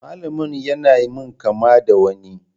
Malamin ya na min kama da wani.